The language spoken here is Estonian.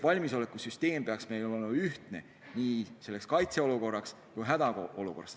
Valmisolekusüsteem peaks olema ühtne toimimaks nii kaitseolukorras kui hädaolukorras.